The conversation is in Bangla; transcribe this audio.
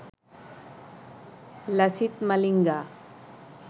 লাসিথ মালিঙ্গা